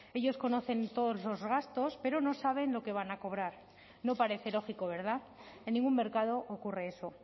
ellos conocen todos los gastos pero no saben lo que van a cobrar no parece lógico verdad en ningún mercado ocurre eso